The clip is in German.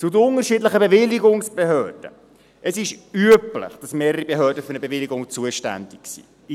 Zu den unterschiedlichen Bewilligungsbehörden: Es ist üblich, dass mehrere Behörden für eine Bewilligung zuständig sind.